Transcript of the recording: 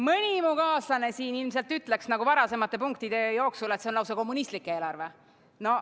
Mõni mu kaaslane ilmselt ütleks, nagu varasemate punktide jooksul, et see on lausa kommunistlik eelarve.